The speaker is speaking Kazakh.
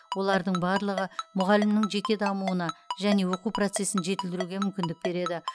олардың барлығы мұғалімнің жеке дамуына және оқу процесін жетілдіруге мүмкіндік береді